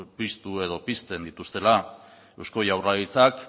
piztu edo pizten dituztela eusko jaurlaritzak